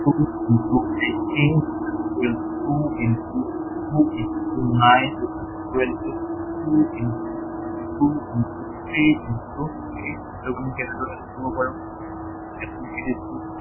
two into eighteen equal two into two into nine equal to two into two into three into eight এইটোক আমি কেনেদৰে লিখিব পাৰো। ইয়াত আমি কি লিখিছো